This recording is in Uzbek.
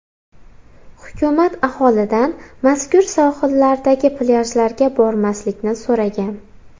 Hukumat aholidan mazkur sohillardagi plyajlarga bormaslikni so‘ragan.